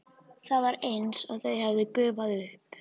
Það var eins og þau hefðu gufað upp.